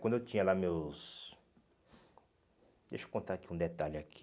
Quando eu tinha lá meus... Deixa eu contar aqui um detalhe aqui...